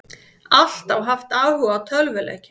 Alltaf haft áhuga á tölvuleikjum